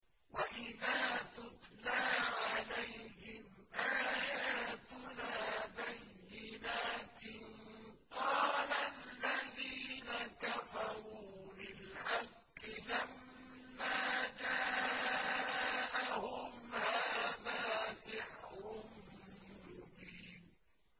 وَإِذَا تُتْلَىٰ عَلَيْهِمْ آيَاتُنَا بَيِّنَاتٍ قَالَ الَّذِينَ كَفَرُوا لِلْحَقِّ لَمَّا جَاءَهُمْ هَٰذَا سِحْرٌ مُّبِينٌ